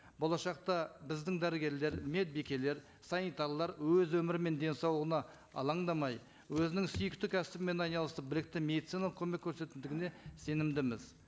болашақта біздің дәрігерлер медбикелер санитарлар өз өмірі мен денсаулығына алаңдамай өзінің сүйікті кәсібімен айналысып білікті медициналық көмек сенімдіміз